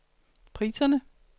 priserne